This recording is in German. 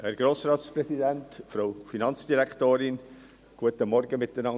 Die EVP hilft nicht mit, die Kirchensteuer auf diese Weise abzuschaffen.